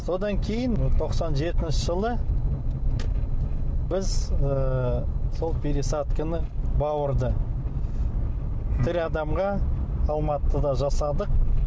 содан кейін тоқсан жетінші жылы біз ыыы сол пересадканы бауырды тірі адамға алматыда жасадық